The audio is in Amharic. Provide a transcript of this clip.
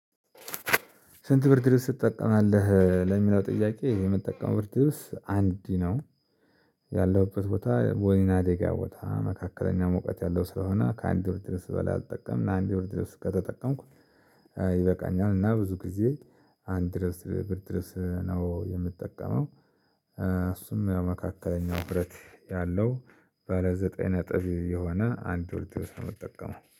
ስንት ብርድ ልብስ ትጠቀማለህ? ለሚለው ጥያቄ የምጠቀመው ብርድ አንድ ነው። ያለሁበት ቦታ ወይና ዴጋ ቦታ መካከለኛ ሞቀት ያለው ስለሆነ ከአንድ ብርድ ልብስ በላይ አልጠቀምም እና አንድ ብርድልብስ ከተጠቀምኩ ይበቃኛል። እና ብዙ ጊዜ አንድ ድረስ ብርድ ልብስ ነው የምጠቀመው። እሱም የመካከለኛው ዉፍረት ያለው በለ ዘጠኝ ነጥብ የሆነ አንድ ሁለት ሶስት ነጥብ የምትጠቀመው